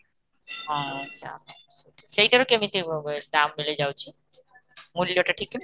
ଓହୋ ଆଛା ସେଟାର କେମିତି ହୁଏ ହୁଏ ଦାମ ମିଳି ଯାଉଛି, ମୂଲ୍ୟଟା ଠିକ କେମିତି